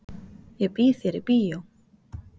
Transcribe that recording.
Ég býð þér í bíó.